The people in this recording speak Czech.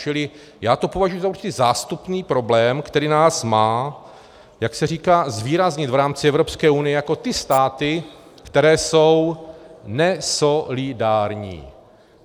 Čili já to považuji za určitý zástupný problém, který nás má, jak se říká, zvýraznit v rámci Evropské unie jako ty státy, které jsou nesolidární.